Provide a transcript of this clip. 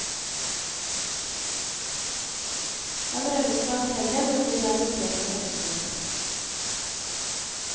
Han rømmer fra hotellet, men blir arrestert og fengslet.